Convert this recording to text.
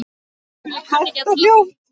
Hægt og hljótt.